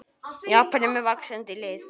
Japan er með vaxandi lið.